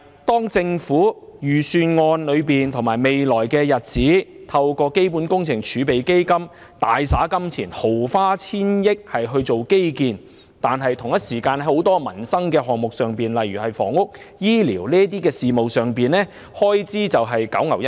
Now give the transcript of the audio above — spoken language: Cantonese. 當預算案計劃在未來透過基本工程儲備基金大灑金錢、毫花千億元於基建的同時，很多民生項目，例如房屋和醫療等開支卻是九牛一毛。